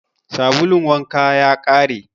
Sabulun wanka ya ƙare.